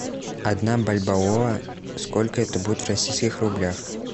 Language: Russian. одна бальбоа сколько это будет в российских рублях